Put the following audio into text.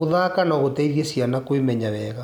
Gũthaka no gũteithie ciana kwĩmeya wega.